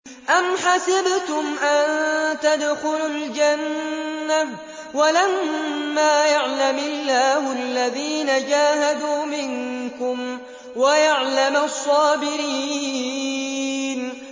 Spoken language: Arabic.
أَمْ حَسِبْتُمْ أَن تَدْخُلُوا الْجَنَّةَ وَلَمَّا يَعْلَمِ اللَّهُ الَّذِينَ جَاهَدُوا مِنكُمْ وَيَعْلَمَ الصَّابِرِينَ